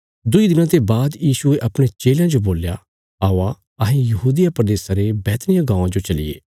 दुईं दिनां ते बाद यीशुये अपणे चेलयां जो बोल्या औआ अहें यहूदिया प्रदेशा रे बैतनिय्याह गाँवां जो चलिये